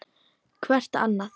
Hvert annað.